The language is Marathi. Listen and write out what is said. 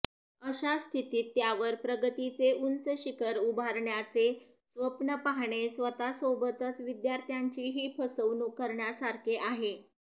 अशा स्थितीत त्यावर प्रगतीचे उंच शिखर उभारण्याचे स्वप्न पाहणे स्वतःसोबतच विद्यार्थ्यांचीही फसवणूक करण्यासारखे आहे